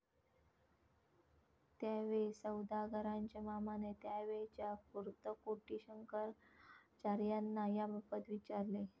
त्यावेळी सौदागरांच्या मामाने त्यावेळच्या कुर्तकोटी शंकराचार्यांना याबाबत विचारले.